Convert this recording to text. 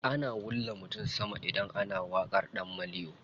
Ana wulla mutum sama idan ana waƙar ɗan maliyo.